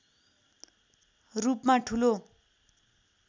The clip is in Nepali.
रूपमा ठूलो